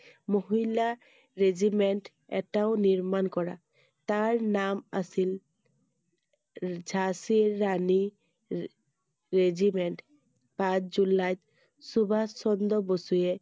মহিলা regiment এটাও নিৰ্মাণ কৰা তাৰ নাম আছিল ঝান্সী ৰাণী re~regiment পাঁচ জুলাইত সুভাষ চন্দ্ৰ বসুৱে